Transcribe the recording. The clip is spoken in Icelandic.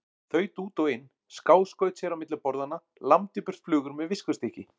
Þaut út og inn, skáskaut sér á milli borðanna, lamdi burt flugur með viskustykki.